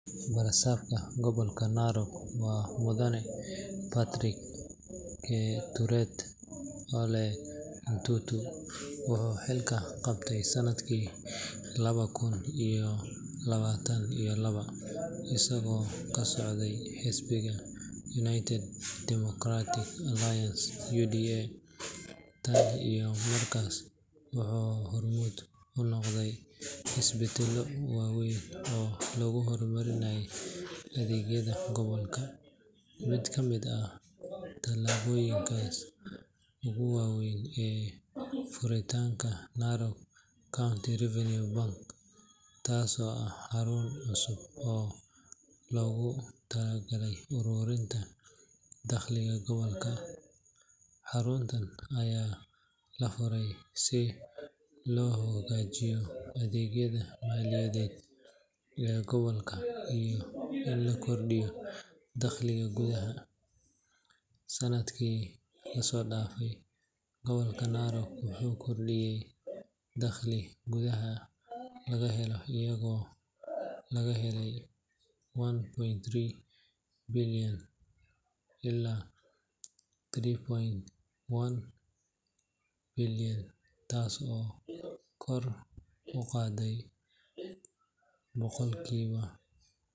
Barasaabka Gobolka Narok waa Mudane Patrick Keturet Ole Ntutu. Wuxuu xilka qabtay sanadkii laba kun iyo labaatan iyo laba, isagoo ka socday xisbiga United Democratic Alliance (UDA). Tan iyo markaas, wuxuu hormuud u noqday isbeddello waaweyn oo lagu horumarinayo adeegyada gobolka. Mid ka mid ah tallaabooyinkiisa ugu waaweyn waa furitaanka Narok County Revenue Bank, taasoo ah xarun cusub oo loogu talagalay ururinta dakhliga gobolka. Xaruntan ayaa la furay si loo hagaajiyo adeegyada maaliyadeed ee gobolka iyo in la kordhiyo dakhliga gudaha. Sanadkii la soo dhaafay, gobolka Narok wuxuu kordhiyay dakhliga gudaha laga helo iyadoo laga helay Ksh one point tree bilyan ilaa Ksh three point one bilyan, taas oo ah koror dhan boqolkiiba.